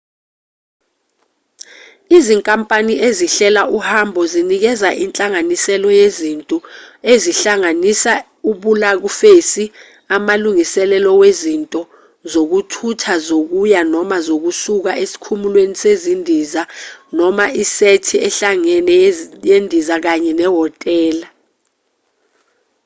izinkampani ezihlela uhambo zinikeza inhlanganisela yezinto ezihlanganisa ibhulakufesi amalungiselelo wezinto zokuthutha zokuya/zokusuka esikhumulweni sezindiza noma isethi ehlangene yendiza kanye nehhotela